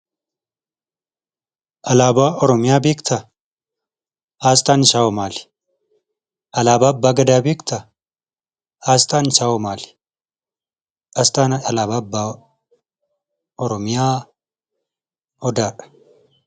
Alaabaa Oromiyaa beektaa? Aasxaan isaawoo maali? Alaabaa abbaa gadaa beektaa? Aasxaan isaawoo maali? Aasxaan alaabaa abbaa Oromiyaa odaadha.